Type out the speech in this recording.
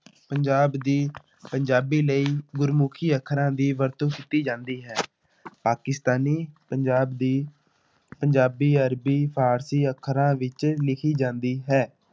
ਪੰਜਾਬ ਦੀ ਪੰਜਾਬੀ ਲਈ ਗੁਰਮੁਖੀ ਅੱਖਰਾਂ ਦੀ ਵਰਤੋਂ ਕੀਤੀ ਜਾਂਦੀ ਹੈ ਪਾਕਿਸਤਾਨੀ ਪੰਜਾਬ ਦੀ ਪੰਜਾਬੀ, ਅਰਬੀ, ਫ਼ਾਰਸੀ ਅੱਖਰਾਂ ਵਿੱਚ ਲਿਖੀ ਜਾਂਦੀ ਹੈ।